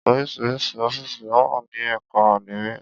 Oríṣiríṣi ọ́fìsì lówà ní ẹ̀ka àdmínìì.